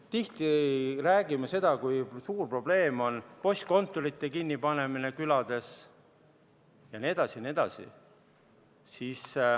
Tihti räägime, kui suur probleem on postkontorite kinnipidamine külades jne.